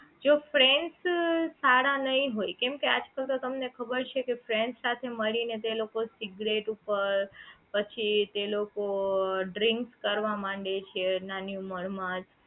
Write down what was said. જો friends સારા નહીં હોય કેમ કે આજકાલ તો તમને ખબર છે કે friends સાથે મળી ને તો એ લોકો સિગરેટ ઉપર પછી તે લોકો drink કરવા માંડે છે નાની ઉંમર જ માં